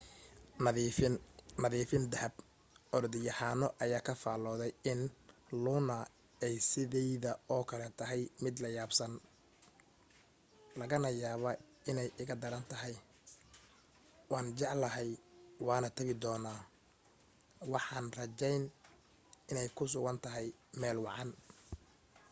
nadiifin nadifin dahab orodyahano ayaa ka faaloday in luna ay sidayda oo kale tahay mid layaab badan.. laga yaabaa inay iga darantahay.. waan jeclahay waanan tabi doonaa waxaan rajayn inay ku sugan tahay meel wacan.